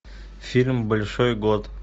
фильм большой год